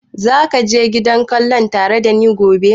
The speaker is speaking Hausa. Za ka je gidan kallon tare da ni gobe?